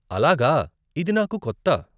అలాగా, ఇది నాకు కొత్త.